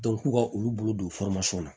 k'u ka olu bolo don la